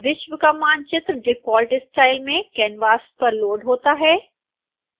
विश्व का मानचित्र डिफॉल्ट स्टाइल में कैनवास पर लोड़ होता है